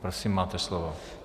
Prosím, máte slovo.